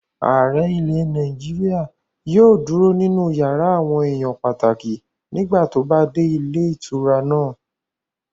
Ààrẹ ilẹ̀ Nàìjíríyà yóò dúró nínú yàrá àwọn èèyàn pàtàkì nígbà tó bá dé ilé ìtura náà